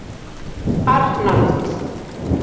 Arnald